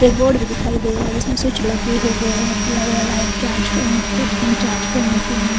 एक रोड भी दिखाई दे रहा है जिसमे सच लगे हुए है चार्ज चार्ज करने के लिए --